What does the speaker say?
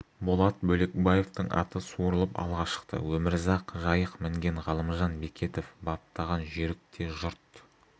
болат бөлекбаевтың аты суырылып алға шықты өмірзақ жайық мінген ғалымжан бекетов баптаған жүйрік те жұрт